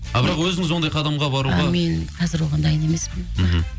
а бірақ өзіңіз ондай қадамға баруға а мен қазір оған дайын емеспін мхм